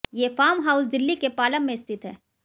ये farm house Delhi के पालम में स्थित हैं